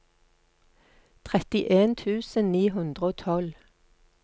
trettien tusen ni hundre og tolv